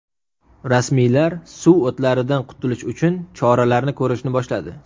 Rasmiylar suv o‘tlaridan qutulish uchun choralarni ko‘rishni boshladi.